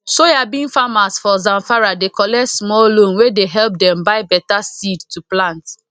soyabean farmers for zamfara dey collect small loan wey dey help dem buy better seed to plant